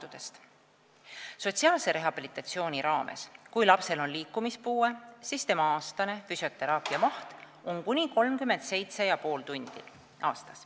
Kui lapsel on liikumispuue, siis sotsiaalse rehabilitatsiooni raames on tema füsioteraapia aastane maht kuni 37,5 tundi.